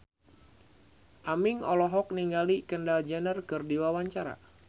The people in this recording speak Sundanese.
Aming olohok ningali Kendall Jenner keur diwawancara